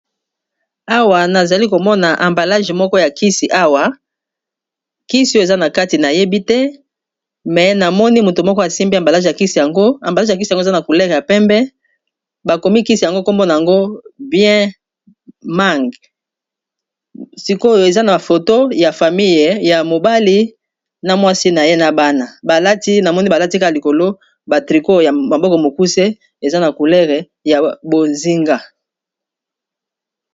awa nazali komona ambalage moko ya kisi awa kisi oyo eza na kati nayebi te me namoni moto moko asimbi ambalage ya kisi yango ambalage ya kisi yango eza na coulere ya pembe bakomi kisi yango kombona yango bien mang sikoyo eza na foto ya famile ya mobali na mwasi na ye na bana balati namoni balatika likolo batriko ya maboko mokuse eza na coulere ya bozinga